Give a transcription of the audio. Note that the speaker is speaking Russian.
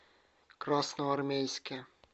красноармейске